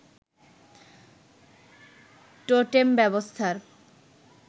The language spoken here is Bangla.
টোটেম ব্যবস্থার